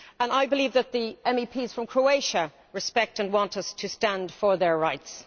I believe that the MEPs from Croatia respect and want us to stand up for their rights.